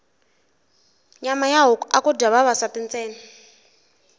nyama ya huku aku dya vavasati ntsena